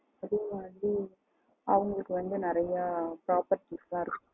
அதே மாரி அவங்களுக்கு வந்து நிறைய properties எல்லாம் இருக்கணும்